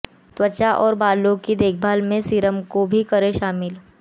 त्वचा और बालों की देखभाल में सीरम को भी करें शामिल